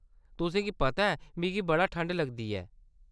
तुसेंगी पता ऐ मिगी बड़ा ठंड लगदी ऐ।